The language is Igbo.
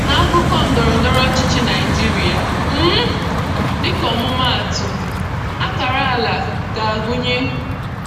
N'akụkọ ndọrọ ndọrọ ọchịchị Naijiria, um dịka ọmụmaatụ, akara ala ga-agụnye: